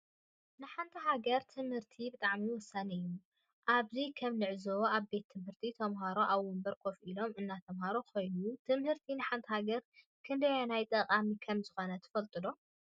ንሓንቲ ሃገር ትምህርቲ ብጣዕሚ ወሳኒ እዩ። አብዚ ከም ንዕዘቦ አብ ቤት ትምህርቲ ተምሃሮ አብ ወንበር ከፍ ኢሎም እናተምሃሩ ኮይኖም ትምህርቲ ንሓንቲ ሃገር ክንደየናይ ጠቃሚ ከም ዝኮነ ትፈለጡ ዶ?